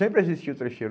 Sempre existia o trecheiro.